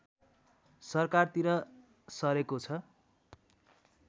सरकारतिर सरेको छ